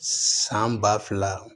San ba fila